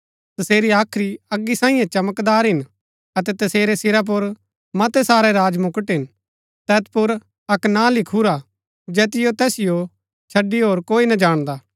तसेरी हाख्री अगी सांईये चमकदार हिन अतै तसेरै सिरा पुर मतै सारै राजमुकट हिन तैत पुर अक्क नां लिखुरा जैतिओ तैसिओ छड़ी होर कोई ना जाणदा